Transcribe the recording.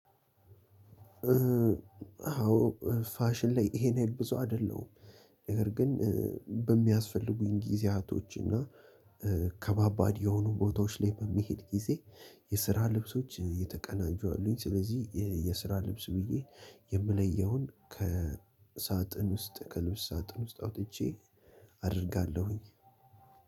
አዎ ፋሽን ላይ ይሄን ያህል ብዙ አይደለሁም። ነገር ግን በሚያስፈልጉኝ ጊዜያቶች እና ከባባድ የሆኑ ቦታዎች ላይ በምሄድ ጊዜ የስራ ልብሶች የተቀናጁ አሉኝ። ስለዚህ የስራ ልብስ ብዬ የምለየውን ከሳጥን ውስጥ ከልብስ ሳጥን ውስጥ አውጥቼ አደርጋለሁኝ።